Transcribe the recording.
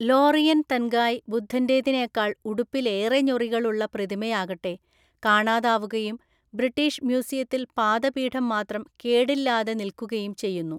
Laurin Tangai ബുദ്ധൻ്റെതിനേക്കാൾ ഉടുപ്പിൽ ഏറെ ഞൊറികളുള്ള പ്രതിമയാകട്ടെ കാണാതാവുകയും ബ്രിട്ടീഷ് മ്യൂസിയത്തിൽ പാദപീഠം മാത്രം കേടില്ലാതെ നിൽക്കുകയും ചെയ്യുന്നു.